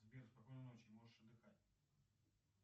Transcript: сбер спокойной ночи можешь отдыхать